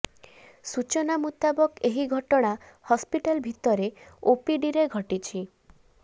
ସୂଚନା ମୁତାବକ ଏହି ଘଟଣା ହସ୍ପିଟାଲ ଭିତରେ ଓପିଡିରେ ଘଟିଛି